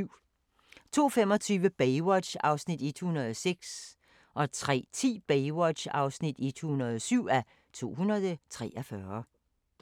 02:25: Baywatch (106:243) 03:10: Baywatch (107:243)